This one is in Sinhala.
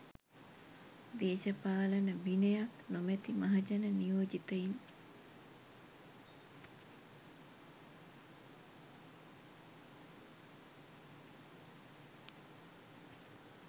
දේශපාලන විනයක් නොමැති මහජන නියෝජිතයින්